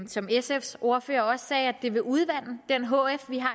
som sfs ordfører også sagde vil udvande den hf vi har